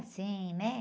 Assim, né?